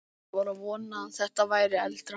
Ég var að vona að þetta væri eldra.